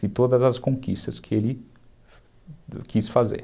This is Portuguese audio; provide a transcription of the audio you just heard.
De todas as conquistas que ele quis fazer.